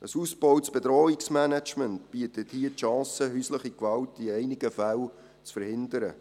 Ein ausgebautes Bedrohungsmanagement bietet hier die Chance, häusliche Gewalt in einigen Fällen zu verhindern.